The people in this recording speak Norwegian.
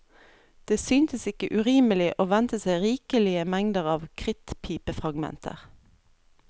Det syntes ikke urimelig å vente seg rikelige mengder av krittpipefragmenter.